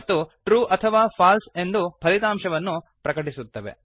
ಮತ್ತು ಟ್ರೂ ಅಥವಾ ಫಾಲ್ಸೆ ಎಂದು ಫಲಿತಾಂಶವನ್ನು ಪ್ರಕಟಪಡಿಸುತ್ತವೆ